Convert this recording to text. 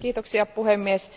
Arvoisa puhemies,